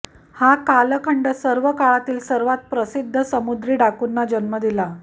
हा कालखंड सर्व काळातील सर्वात प्रसिद्ध समुद्री डाकूंना जन्म दिला